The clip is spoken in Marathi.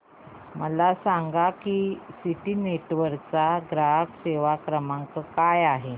मला सांगा की सिटी नेटवर्क्स चा ग्राहक सेवा क्रमांक काय आहे